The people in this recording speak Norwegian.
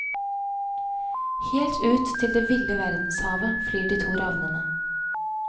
Helt ut til det ville verdenshavet flyr de to ravnene.